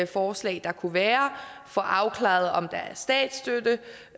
forslag der kunne være og få afklaret om